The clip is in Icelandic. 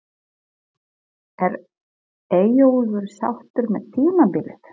Er Eyjólfur sáttur með tímabilið?